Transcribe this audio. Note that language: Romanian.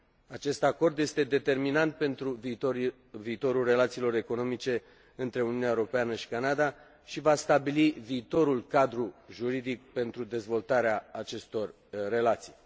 Acest acord este determinant pentru viitorul relațiilor economice dintre Uniunea Europeană și Canada și va stabili viitorul cadru juridic pentru dezvoltarea acestor relații.